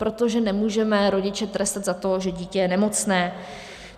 Protože nemůžeme rodiče trestat za to, že dítě je nemocné.